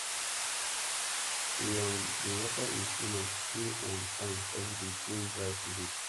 e um dey water him spinach two um times everyday during dry season